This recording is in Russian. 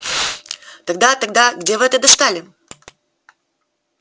тогда тогда где вы это достали